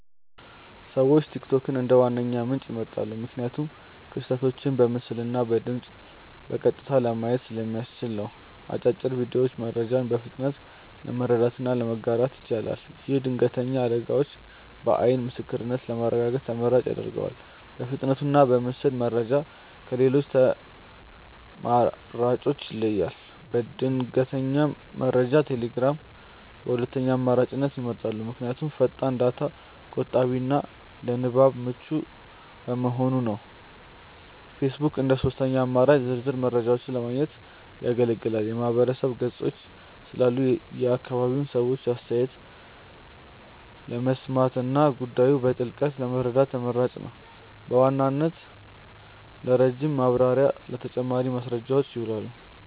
ሰዎች ቲክቶክን እንደ ዋነኛ ምንጭ ይመርጣሉ። ምክንያቱም ክስተቶችን በምስልና በድምፅ በቀጥታ ለማየት ስለሚያስችል ነው። አጫጭር ቪዲዮዎቹ መረጃን በፍጥነት ለመረዳትና ለማጋራት ይችላል። ይህም ድንገተኛ አደጋዎችን በዓይን ምስክርነት ለማረጋገጥ ተመራጭ ያደርገዋል። በፍጥነቱና በምስል መረጃው ከሌሎች አማራጮች ይለያል። ለድንገተኛ መረጃ ቴሌግራምን በሁለተኛ አማራጭነት ይመርጣሉ። ምክንያቱም ፈጣን፣ ዳታ ቆጣቢና ለንባብ ምቹ በመሆኑ ነው። ፌስቡክ እንደ ሦስተኛ አማራጭ ዝርዝር መረጃዎችን ለማግኘት ያገለግላል። የማህበረሰብ ገጾች ስላሉ የአካባቢውን ሰዎች አስተያየት ለመስማትና ጉዳዩን በጥልቀት ለመረዳት ተመራጭ ነው። በዋናነት ለረጅም ማብራሪያና ለተጨማሪ ማስረጃዎች ይውላል።